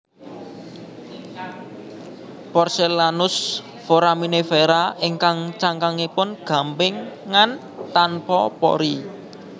Porcelaneous Foraminifera ingkang cangkangipun gampingan tanpa pori